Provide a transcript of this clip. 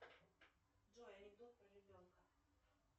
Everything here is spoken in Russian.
джой анекдот про ребенка